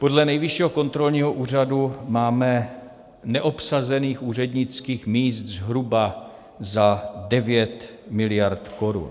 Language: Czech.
Podle Nejvyššího kontrolního úřadu máme neobsazených úřednických míst zhruba za 9 miliard korun.